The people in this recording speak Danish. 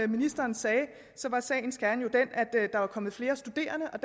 ministeren sagde sagens kerne at der var kommet flere studerende og